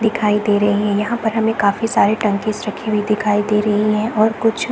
दिखाई दे रहे है यहाँ पर हमें काफी सारे टंकीस रखी हुई दिखाई दे रही है और कुछ --